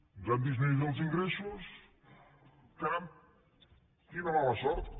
ens han disminuït els ingressos caram quina mala sort